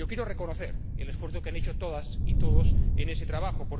Quiero reconocer el esfuerzo que han hecho todas y todos en este trabajo.